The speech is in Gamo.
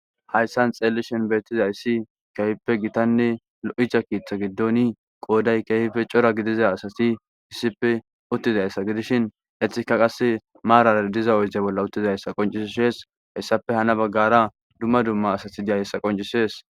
Hayissan xellishin betizayisi kehippe gittanne lo'iza keththa giddon qoddayi kehippe Cora gidiza asati issippe uttidayissa giddishin etika qase marara diza oyidde bolla uttidaysa qonccises hessappe hanna baggara duma duma asati dizayisa qonccises